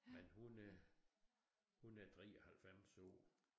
Men hun er hun er 93 år